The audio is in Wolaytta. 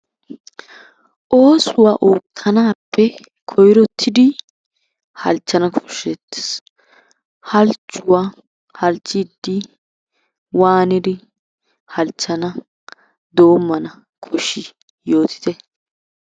Oosuwa ootanaappe koyrottidi halchana kosheetees. Halchuwaa halchiidi waanidi halchana doomana koshii yootitte